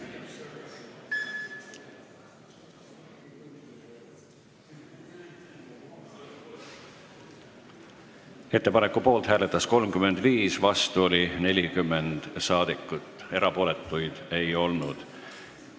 Hääletustulemused Ettepaneku poolt hääletas 35 ja vastu oli 40 saadikut, erapooletuid ei olnud.